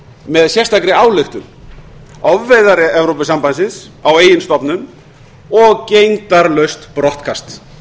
með sérstakri ályktun ofveiðar evrópusambandsins á eigin stofnum og gegndarlaust brottkast